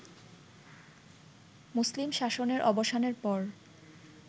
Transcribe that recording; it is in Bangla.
মুসলিম শাসনের অবসানের পর